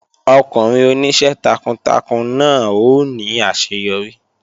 Ọkùnrin oníṣẹ́ takuntakun náà ó ní àṣeyọrí